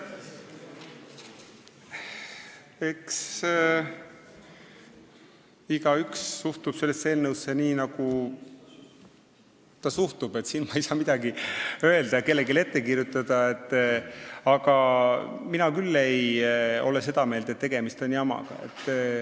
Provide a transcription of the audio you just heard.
Eks igaüks suhtub sellesse eelnõusse nii, nagu ta suhtub, siin ei saa mina midagi öelda ega kellelegi midagi ette kirjutada, aga mina küll ei ole seda meelt, nagu tegemist oleks jamaga.